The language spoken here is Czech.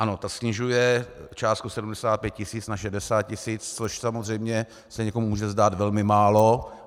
Ano, ta snižuje částku 75 tisíc na 60 tisíc, což samozřejmě se někomu může zdát velmi málo.